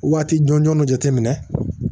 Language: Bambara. Waati jɔnjɔn jateminɛ